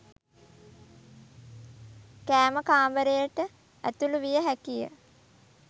කෑම කාමරයට ඇතුළු විය හැකිය.